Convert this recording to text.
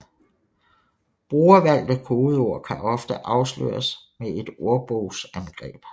Brugervalgte kodeord kan ofte afsløres med et ordbogsangreb